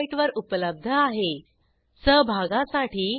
ह्या ट्युटोरियलचे भाषांतर मनाली रानडे यांनी केले असून मी आपला निरोप घेते160